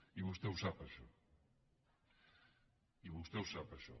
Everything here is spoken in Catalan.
i vostè ho sap això i vostè ho sap això